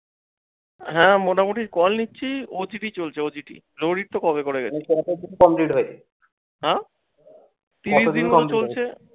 হ্যাঁ, মোটামুটি call নিচ্ছি OTT চলছে, OTT কবে করে গেছে। হ্যাঁ